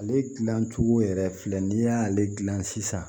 Ale dilan cogo yɛrɛ filɛ nin y'ale gilan sisan